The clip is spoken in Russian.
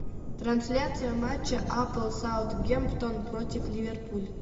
трансляция матча апл саутгемптон против ливерпуль